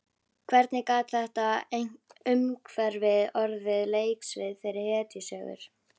Hvernig gat þetta umhverfi orðið leiksvið fyrir hetjusögur?